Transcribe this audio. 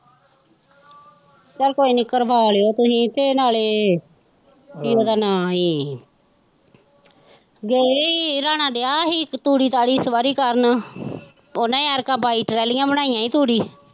ਚੱਲ ਕੋਈ ਨਹੀਂ ਕਰਵਾ ਲਉ ਤੁਸੀਂ ਤੇ ਨਾਲੇ ਕੀ ਉਹਦਾ ਨਾਮ ਸੀ ਗਏ ਹੀ ਰਾਣਾ ਦਿਆ ਹੀ ਤੂੜੀ ਤਾੜੀ ਇਸ ਵਾਰੀ ਕਰਨ ਉਹਨੇ ਐਤਕਾ ਬਾਈ ਟਰਾਲੀਆਂ ਬਣਾਈਆਂਂ ਹੀ ਤੂੜੀ।